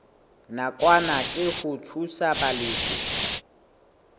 nakwana ke ho thusa balefi